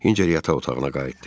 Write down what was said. Hinçer yataq otağına qayıtdı.